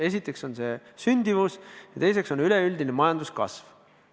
Esiteks on see sündimus ja teiseks üleüldine majanduskasv.